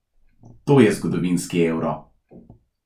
To je zgodovinski Euro.